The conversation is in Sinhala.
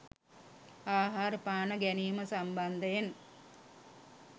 ආහාර පාන ගැනීම සම්බන්ධයෙන්